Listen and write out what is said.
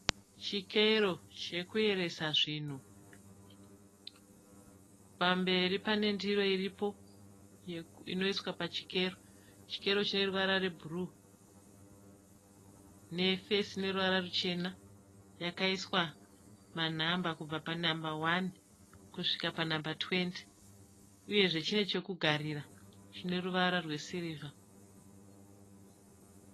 Chikero chekuyeresa zvinhu. Pamberi pane ndiro iripo inoiswa pachikero, Chikero cheruvara rwebhuruu nefesi ine ruvara ruchena yakaiswa manamba kubva panamba hwani kusvika panamba tuwendi uyezve chine chekugarira chine ruvara rwesirivha.